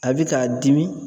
A bi k'a dimi